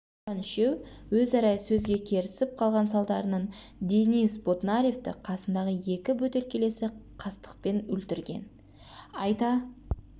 тойған үшеу өзара сөзге керісіп қалған салдарынан денис ботнаревті қасындағы екі бөтелкелесі қастықпен өлтірген айта